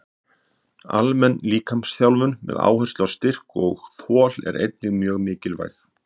Almenn líkamsþjálfun með áherslu á styrk og þol er einnig mjög mikilvæg.